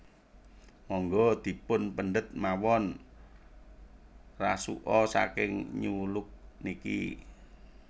Monggo dipun pendet mawon rasuka saking New Look niki